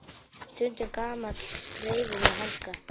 Stundum gamall greifi með hanska.